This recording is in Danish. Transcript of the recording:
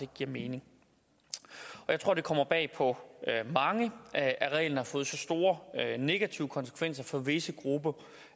giver mening jeg tror det kommer bag på mange at at reglen har fået så store negative konsekvenser for visse grupper